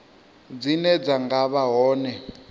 dzine dza nga vha hone